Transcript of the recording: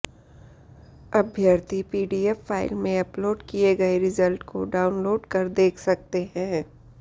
अभ्यर्थी PDF file में upload किए गए रिजल्ट को डाउनलोड कर देख सकते हैं